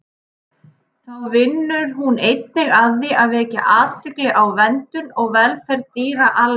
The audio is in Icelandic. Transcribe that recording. Þá vinnur hún einnig að því að vekja athygli á verndun og velferð dýra almennt.